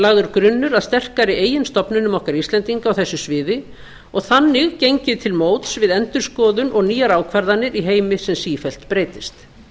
lagður grunnur að sterkari eigin stofnunum okkar íslendinga á þessu sviði og þannig gengið til móts við endurskoðun og nýjar ákvarðanir í heimi sem sífellt breytist